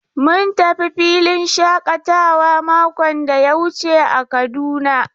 Mun tafi filin shakatawa makon da ya wuce a Kaduna.